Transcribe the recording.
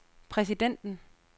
præsidenten